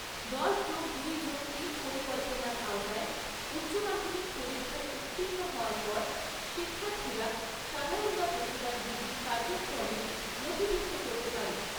দশ যোগ দুই যোগ তিন পরিকল্পনার আওতায় উচ্চমাধ্যমিক পরীক্ষায় উত্তীর্ণ হওয়ার পর শিক্ষার্থীরা সাধারণ বা পেশাদার ডিগ্রি কার্যক্রমে নথিভুক্ত করতে পারে।